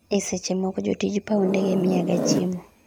esche moko jotij paw ndege miya ga chiemo